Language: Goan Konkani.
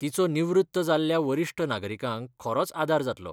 तिचो निवृत्त जाल्ल्या वरिश्ठ नागरिकांक खरोच आदार जातलो.